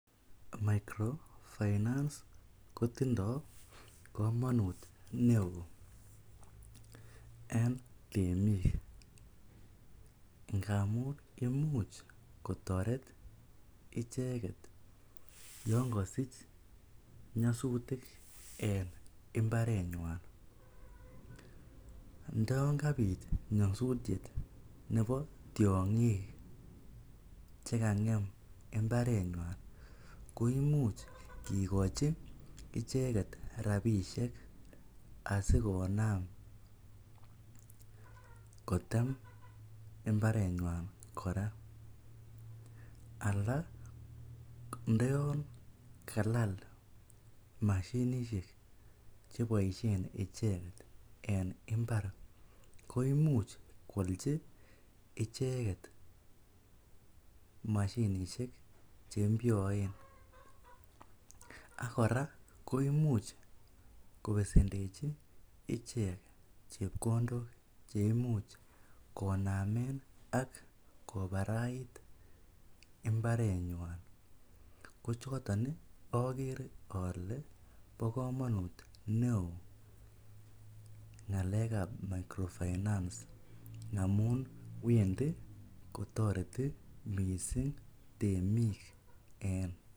Microfinance kotindo komonut neoo en temik ngamun imuch kotoret icheket yoon kosich nyosutik en imbarenywan, ndoyon kabit nyosutiet nebo tiongik cheangem imbarenywan koimuch kikochi icheket rabishek asikonam kotem imbarenywan kora alaa ndo yoon kalal mashinishek cheboishen icheket en imbar koimuch kwolchi icheket mashinishek che mpyoen, ak kora koimuch kobesendechi ichek chepkondok cheimuch koname ak kobarait imbarenywan ko choton okere olee bokomonut neoo ngalekab microfinance amun wendi kotoreti mising temik en.